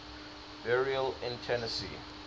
burials in tennessee